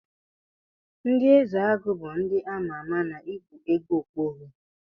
Ndi ezeagu bu ndi amama na ikpụ ego okpogho.